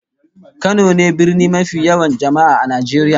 Kano ne birni mafi yawan jama'a a Najeriya